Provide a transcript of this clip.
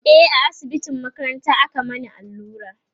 e a asibitin makaranta aka Mani allura